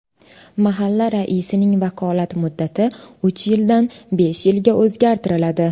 Mahalla raisining vakolat muddati uch yildan besh yilga o‘zgartiriladi.